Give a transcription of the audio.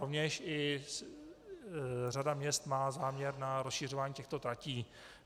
Rovněž i řada měst má záměr na rozšiřování těchto tratí.